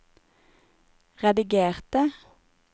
redigerte